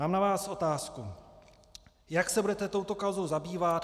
Mám na vás otázku: Jak se budete touto kauzou zabývat?